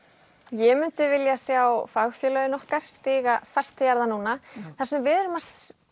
ég myndi vilja sjá fagfélögin okkar stíga fast til jarðar núna það sem við erum að